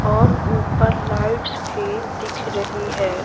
और ऊपर लाइट्स भी दिख रही है।